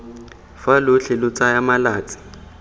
fa lotlhe lo tsaya malatsi